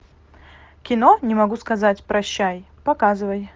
кино не могу сказать прощай показывай